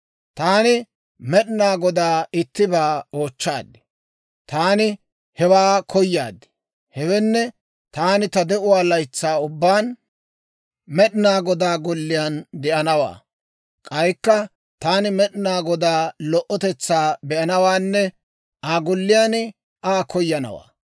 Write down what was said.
Taani Med'inaa Godaa ittibaa oochchaad; Taani hewaa koyaad; hewenne, taani ta de'uwaa laytsaa ubbaan, Med'inaa Godaa golliyaan de'anawaa; k'aykka taani Med'inaa Godaa lo"otetsaa be'anawaanne Aa Golliyaan Aa koyanawaa.